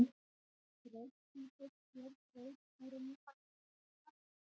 Braut Plútós sker braut Úranusar og Neptúnusar.